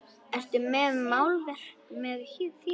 Ertu með málverk með þér?